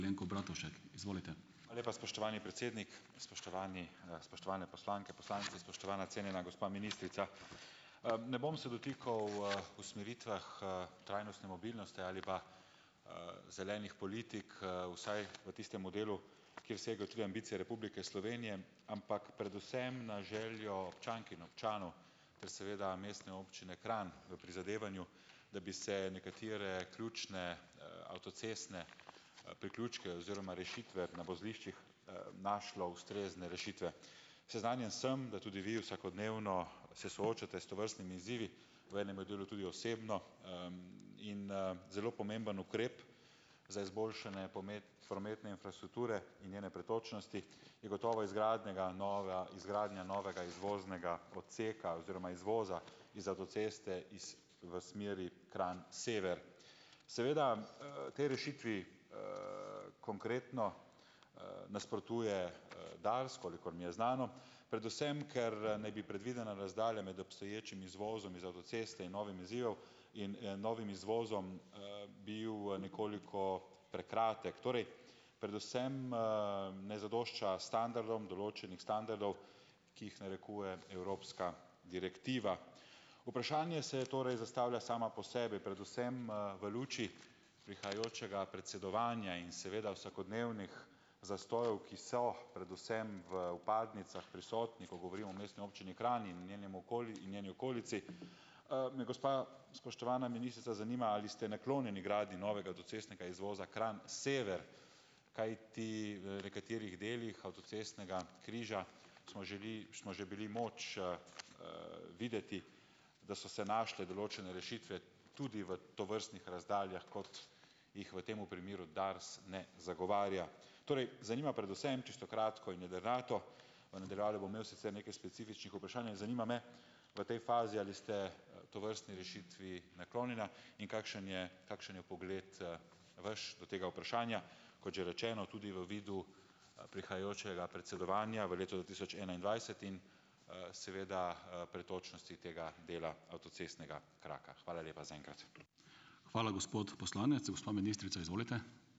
Hvala lepa, spoštovani predsednik, spoštovani, spoštovane poslanke, poslanci, spoštovana cenjena gospa ministrica! Ne bom se dotikal, usmeritvah, trajnostne mobilnosti ali pa, zelenih politik, vsaj v tistemu delu, ki je segel tudi ambicije Republike Slovenije, ampak predvsem na željo občank in občanov ter seveda Mestne občine Kranj v prizadevanju, da bi se nekatere ključne, avtocestne priključke oziroma rešitve na vozliščih, našlo ustrezne rešitve. Seznanjen sem, da tudi vi vsakodnevno se soočate s tovrstnimi izzivi, v enem delu tudi osebno, in, zelo pomemben ukrep za izboljšanje prometne infrastrukture in njene pretočnosti je gotovo izgradnjega izgradnja novega izvoznega odseka oziroma izvoza iz avtoceste iz v smeri Kranj sever. Seveda, tej rešitvi, konkretno, nasprotuje, Dars, kolikor mi je znano, predvsem ker, naj bi predvidena razdalja med obstoječim izvozom iz avtoceste in novim izzivom, in, novim izvozom, bil nekoliko prekratek. Torej, predvsem, ne zadošča standardom, določenih standardov ki jih narekuje evropska direktiva. Vprašanje se torej zastavlja samo po sebi, predvsem, v luči prihajajočega predsedovanja in seveda vsakodnevnih zastojev, ki so predvsem v vpadnicah prisotni, ko govorimo o Mestni občini Kranj in njenim njeni okolici, me gospa spoštovana ministrica zanima, ali ste naklonjeni gradnji novega avtocestnega izvoza Kranj sever. Kajti v nekaterih delih avtocestnega križa smo že smo že bili moč, videti, da so se našle določene rešitve tudi v tovrstnih razdaljah, kot jih v tem primeru Dars ne zagovarja. Torej zanima predvsem čisto kratko in jedrnato. V nadaljevanju bom imel sicer nekaj specifičnih vprašanj. In zanima me v tej fazi, ali ste tovrstni rešitvi naklonjena in kakšen je kakšen je pogled, vaš do tega vprašanja, kot že rečeno, tudi v vidu prihajajočega predsedovanja v letu dva tisoč enaindvajset, in, seveda, pretočnosti tega dela avtocestnega kraka. Hvala lepa zaenkrat.